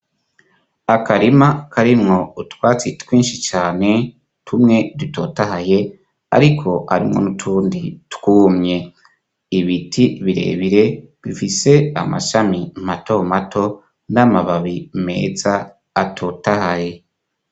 Akarima karimwo utwatsi twinshi cane tumwe dutotahaye, ariko arimwo n'utundi twumye ibiti birebire bifise amashami mato mato n'amababi meza atotahaye.